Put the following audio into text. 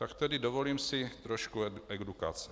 Tak tedy dovolím si trošku edukace.